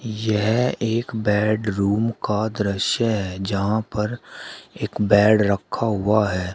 यह एक बेडरूम का दृश्य है जहां पर एक बेड रखा हुआ है।